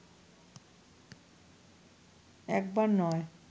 একবার নয়